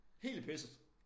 Hele pisset